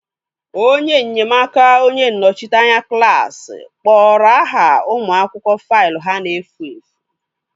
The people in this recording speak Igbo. Onye nnyemaaka onye nnọchiteanya klaasị kporo aha ụmụ akwụkwọ faịlụ ha na-efu efu